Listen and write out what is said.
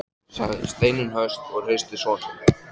sagði Steinunn höst og hristi son sinn.